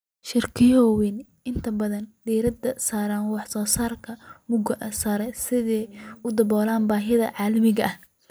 Shirkaduhu waxay inta badan diiradda saaraan wax soo saarka mugga sare si ay u daboolaan baahiyaha caalamiga ah.